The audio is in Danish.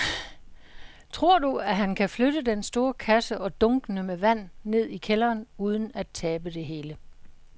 Tror du, at han kan flytte den store kasse og dunkene med vand ned i kælderen uden at tabe det hele?